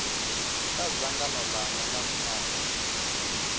kha dzangano langa nga nthani